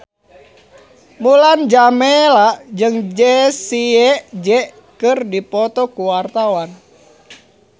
Mulan Jameela jeung Jessie J keur dipoto ku wartawan